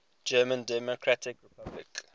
german democratic republic